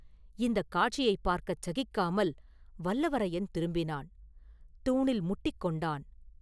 இந்தக் காட்சியைப் பார்க்கச் சகிக்காமல் வல்லவரையன் திரும்பினான்; தூணில் முட்டிக் கொண்டான்.